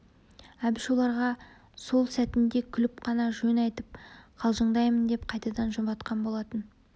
әбіш оларға сол сәтінде күліп қана жөн айтып қалжыңдаймын деп қайтадан жұбатқан болатын